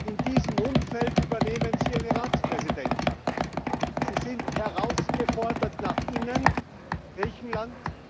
In diesem Umfeld übernehmen Sie eine Ratspräsidentschaft. Sie sind herausgefordert nach innen, Griechenland